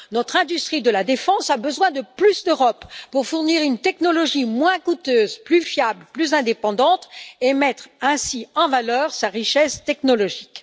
Notre industrie de la défense a besoin de plus d'Europe pour fournir une technologie moins coûteuse, plus fiable, plus indépendante et mettre ainsi en valeur sa richesse technologique.